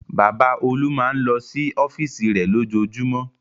Bàbá Olú máa ń lọ sí ọ́fíísì rẹ̀ lójoojúmọ́.